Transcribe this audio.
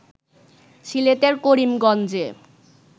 সিলেটের করিমগঞ্জে